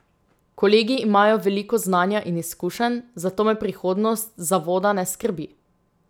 Kolegi imajo veliko znanja in izkušenj, zato me prihodnost zavoda ne skrbi.